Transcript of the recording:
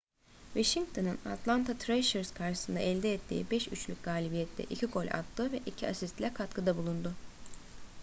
washington'un atlanta thrashers karşısında elde ettiği 5-3'lük galibiyette 2 gol attı ve 2 asistle katkıda bulundu